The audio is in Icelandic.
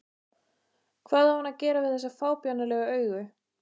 Hvað á hann að gera við þessi fábjánalegu augu?